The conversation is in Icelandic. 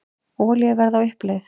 Olíuverð á uppleið